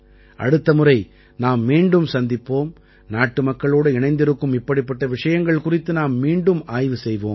அடுத்த முறை நாம் மீண்டும் சந்திப்போம் நாட்டுமக்களோடு இணைந்திருக்கும் இப்படிப்பட்ட விஷயங்கள் குறித்து நாம் மீண்டும் ஆய்வு செய்வோம்